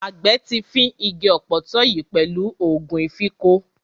Àgbẹ̀ ti fín igi ọ̀pọ̀tọ́ yìí pẹ̀lú ògùn ìfínko.